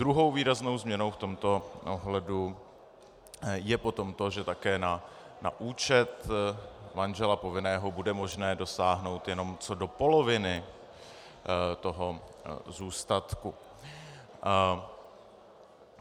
Druhou výraznou změnou v tomto ohledu je potom to, že také na účet manžela povinného bude možné dosáhnout jenom co do poloviny toho zůstatku.